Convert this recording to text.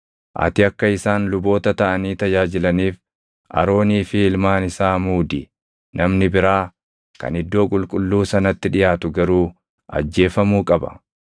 Ati akka isaan luboota taʼanii tajaajilaniif Aroonii fi ilmaan isaa muudi; namni biraa kan iddoo qulqulluu sanatti dhiʼaatu garuu ajjeefamuu qaba.”